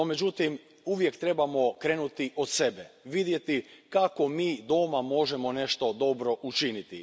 No, međutim, uvijek trebamo krenuti od sebe, vidjeti kako mi doma možemo nešto dobro učiniti.